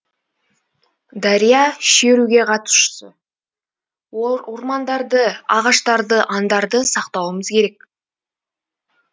дария шеруге қатысушы ол ормандарды ағаштарды аңдарды сақтауымыз керек